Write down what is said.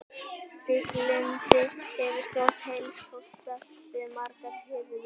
Trygglyndi hefur þótt helsti kostur við margar hirðir.